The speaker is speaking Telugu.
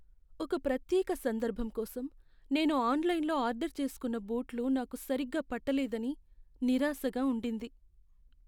ఒక ప్రత్యేక సందర్భం కోసం నేను ఆన్లైన్లో ఆర్డర్ చేస్కున్న బూట్లు నాకు సరిగ్గా పట్టలేదని నిరాశగా ఉండింది.